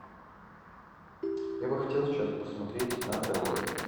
я бы хотел сейчас посмотреть нация зет